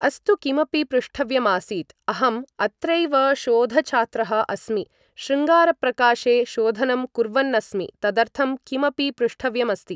अस्तु किमपि पृष्टव्यमासीत् अहम् अत्रैव शोधछात्रः अस्मि शृङ्गारप्रकाशे शोधनं कुर्वन्नस्मि तदर्थं किमपि पृष्टव्यमस्ति